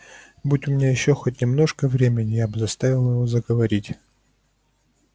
будь у меня ещё хоть немножко времени я бы заставила его заговорить